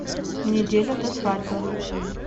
неделя до свадьбы